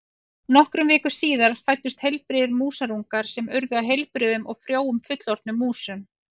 Nokkrum vikum síðar fæddust heilbrigðir músarungar sem urðu að heilbrigðum og frjóum fullorðnum músum.